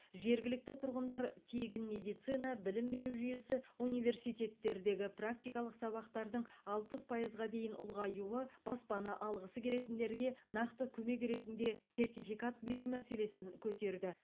жергілікті тұрғындар тегін медицина білім беру жүйесі университеттердегі практикалық сабақтардың алпыс пайызға дейін ұлғаюы баспана алғысы келетіндерге нақты көмек ретінде сертификат беру мәселесін көтерді